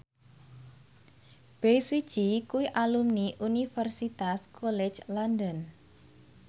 Bae Su Ji kuwi alumni Universitas College London